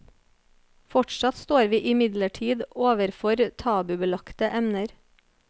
Fortsatt står vi imidlertid overfor tabubelagte emner.